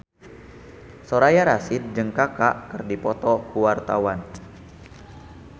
Soraya Rasyid jeung Kaka keur dipoto ku wartawan